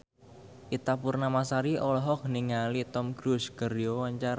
Ita Purnamasari olohok ningali Tom Cruise keur diwawancara